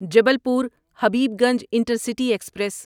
Jabalpur Habibganj intercity express